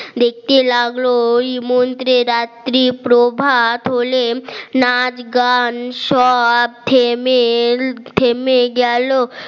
দেখতে লাগলো ওই মন্ত্রী রাত্রি প্রভাত হলেন নাচ গান সব থেমে থেমে গেল